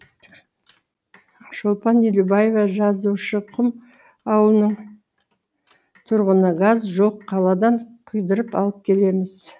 шолпан елубаева жазушықұм ауылының тұрғыны газ жоқ қаладан құйдырып алып келеміз